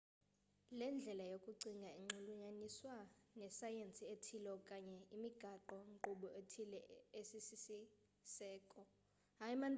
le ndlela yokucinga inxulunyaniswa nesayensi ethile okanye imigaqo nkqubo ethile esisiseko